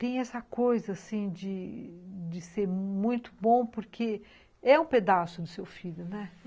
Tem essa coisa, assim, de ser muito bom porque é um pedaço do seu filho, né?